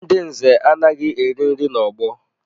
Ndị nze anaghị eri nri n'ọgbọ